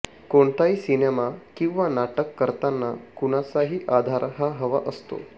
कोणताही सिनेमा किंवा नाटक करताना कुणाचातरी आधार हा हवा असतो